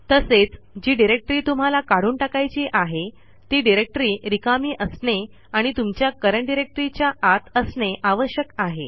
तसेच जी डिरेक्टरी तुम्हाला काढून टाकायची आहे ती डिरेक्टरी रिकामी असणे आणि तुमच्या करंट Directoryच्या आत असणे आवश्यक आहे